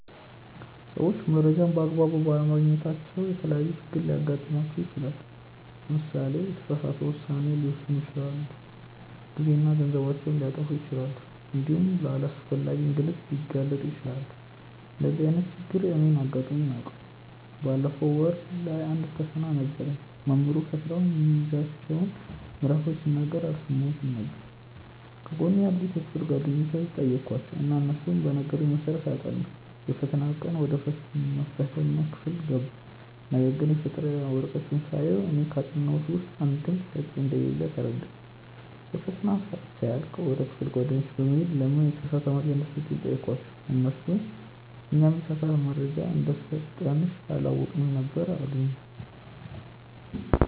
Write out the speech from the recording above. ሰዎች መረጃን በ አግባቡ ባለማግኘታቸው የተለያዪ ችግሮች ሊገጥማቸው ይችላል። ለምሳሌ የተሳሳተ ውሳኔ ሊወስኑ ይችላሉ፣ ጊዜና ገንዘባቸውን ሊያጠፉ ይችላሉ እንዲሁም ለአላስፈላጊ እንግልት ሊጋለጡ ይችላሉ። እንደዚህ አይነት ችግር እኔንም አጋጥሞኝ ያውቃል። ባለፈው ወር ላይ አንድ ፈተና ነበረኝ። መምህሩ ፈተናው የሚይዛቸውን ምዕራፎች ሲናገር አልሰማሁትም ነበር። ከጎኔ ያሉትን የክፍል ጓደኞቼን ጠየኳቸው እና እነሱ በነገሩኝ መሰረት አጠናሁ። የፈተናው ቀን ወደ መፈተኛ ክፍል ገባሁ ነገርግን የፈተና ወረቀቱን ሳየው እኔ ካጠናሁት ውስጥ አንድም ጥያቄ እንደሌለ ተረዳሁ። የፈተናው ሰአት ሲያልቅ ወደ ክፍል ጓደኞቼ በመሄድ ለምን የተሳሳተ መረጃ እንደሰጡኝ ጠየኳቸው እነርሱም "እኛም የተሳሳተ መረጃ እንደሰጠንሽ አላወቅንም ነበር አሉኝ"።